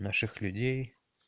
наших людей